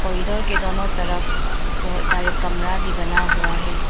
के दोनों तरफ बहुत सारे कमरा भी बना हुआ हैं।